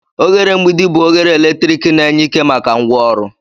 Oghere mgbidi bụ oghere eletrik na-enye ike maka ngwaọrụ.